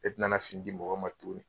E tɛ nana fini di mɔgɔ ma tuguni.